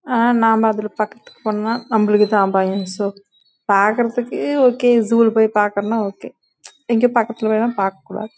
பாக்கறதுக்கு ஜூ லே ந ஓகே ஆனா